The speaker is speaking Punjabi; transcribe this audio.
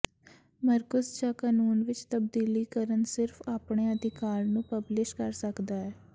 ਮਰਕੁਸ ਜ ਕਾਨੂੰਨ ਵਿੱਚ ਤਬਦੀਲੀ ਕਰਨ ਸਿਰਫ਼ ਆਪਣੇ ਅਧਿਕਾਰ ਨੂੰ ਪਬਲਿਸ਼ ਕਰ ਸਕਦਾ ਹੈ